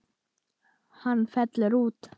Hann fellur út.